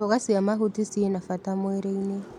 Mboga cia mahuti cina bata mwĩrĩ-inĩ.